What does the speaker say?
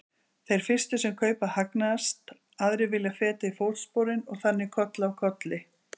Þeir fyrstu sem kaupa hagnast, aðrir vilja feta í fótsporin og þannig koll af kolli.